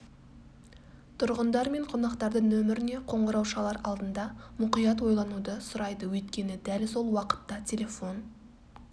тұрғындар мен қонақтарды нөміріне қоңырау шалар алдында мұқият ойлануды сұрайды өйткені дәл сол уақытта телефон